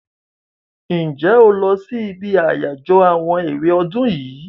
Ǹjẹ́ o lọ sí ibi àyájọ́ àwọn èwe ọdún yìí?